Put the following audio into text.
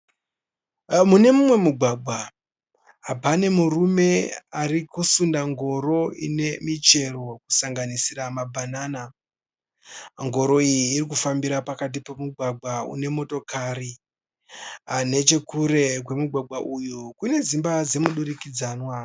Mune mumwe mugwagwa pane murume arikusunda ngoro ine michero kusanganisira ma bhanana. Ngoro iyi irikufambira pakati pemugwagwa une motokari. Nechekure kwemugwagwa uyu kune dzimba dzemudurikidzanwa.